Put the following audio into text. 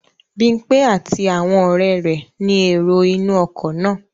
Bímpé àti àwọn ọ̀rẹ́ rẹ̀ ni èrò inú ọkọ̀ náà